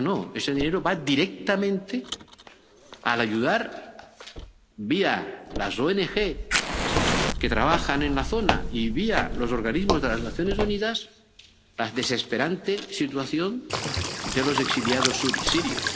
No, ese dinero va directamente a ayudar, vía las ONG que trabajan en la zona, y vía los organismos de las Naciones Unidas, a la desesperante situación de los exiliados sirios.